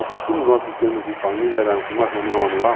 O costume nosso em termos de família era uma reunião anual.